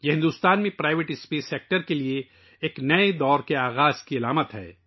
یہ بھارت میں نجی خلائی شعبے کے لئے ایک نئے دور کا آغاز ہے